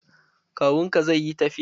Kawun ka zai yi tafiyan?